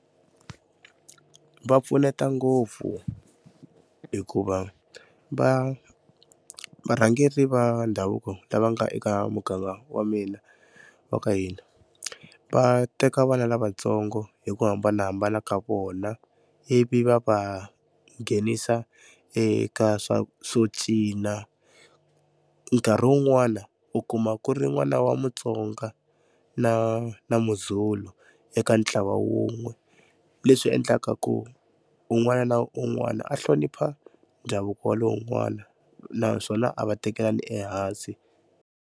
Va pfuneta ngopfu hikuva va varhangeri va ndhavuko lava nga eka muganga wa mina wa ka hina va teka vana lavatsongo hi ku hambanahambana ka vona ivi va va nghenisa eka swo cina nkarhi wun'wana u kuma ku ri n'wana wa Mutsonga na na Muzulu eka ntlawa wun'we leswi endlaka ku un'wana na un'wana a hlonipha ndhavuko wa lowun'wana naswona a va tekelani ehansi.